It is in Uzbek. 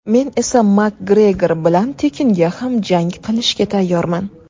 Men esa MakGregor bilan tekinga ham jang qilishga tayyorman.